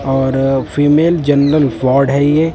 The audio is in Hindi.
और फीमेल जनरल वार्ड है ये--